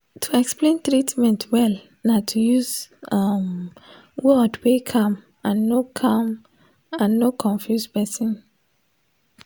to explain treatment well na to use um word wey calm and no calm and no confuse person.